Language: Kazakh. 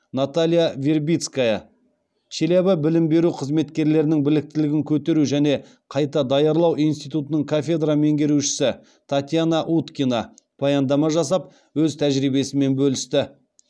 наталья вербицкая челябі білім беру қызметкерлерінің біліктілігін көтеру және қайта даярлау институтының кафедра меңгерушісі татьяна уткина баяндама жасап өз тәжірибесімен бөлісті